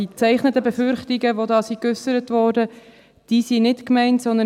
Die gezeichneten Befürchtungen, die hier geäussert wurden, sind nicht gemeint.